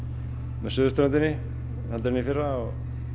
með suðurströndinni heldur en í fyrra og